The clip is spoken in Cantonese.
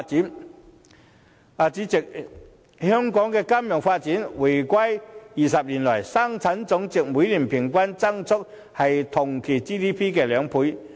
代理主席，香港的金融發展自回歸20年來，生產總值的每年平均增幅為同期 GDP 的兩倍。